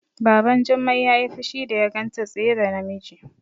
Baban Jummai yayi fushi da ya ganta tsaye da namiji